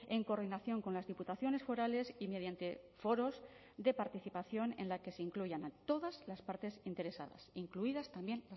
en coordinación con las diputaciones forales y mediante foros de participación en la que se incluyan a todas las partes interesadas incluidas también